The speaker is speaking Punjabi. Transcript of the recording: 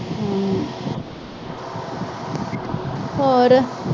ਹੋਰ।